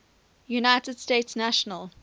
united states national